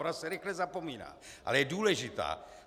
Ona se rychle zapomíná, ale je důležitá.